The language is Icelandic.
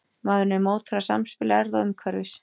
Maðurinn er mótaður af samspili erfða og umhverfis.